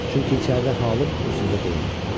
Çünki içəridə halım özümdə deyildi.